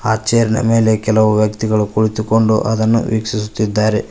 ಆ ಚೇರ್ ಮೇಲೆ ಕೆಲವು ವ್ಯಕ್ತಿಗಳು ಕುಳಿತುಕೊಂಡು ಅದನ್ನು ವೀಕ್ಷಿಸುತ್ತಿದ್ದಾರೆ.